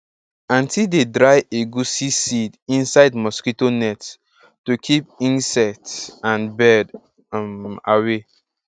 aunty dey dry egusi seeds inside mosquito net to keep insect and bird um away